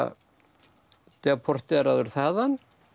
deporteraður þaðan